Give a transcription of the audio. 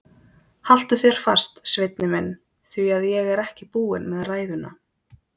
Haltu þér fast, Svenni minn, því að ég er ekki búin með ræðuna.